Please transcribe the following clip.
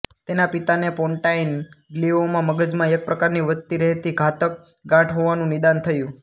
તેના પિતાને pontine glioma મગજમાં એક પ્રકારની વધતી રહેતી ઘાતક ગાંઠહોવાનું નિદાન થયું